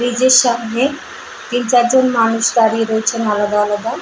এইযে সামনে তিন চার জন মানুষ দাঁড়িয়ে রয়েছেন আলাদা আলাদা ।